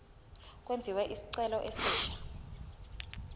kwenziwe isicelo esisha